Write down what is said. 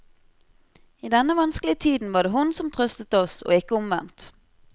I denne vanskelige tiden var det hun som trøstet oss og ikke omvendt.